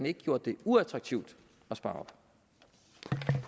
ikke gjort det uattraktivt at spare op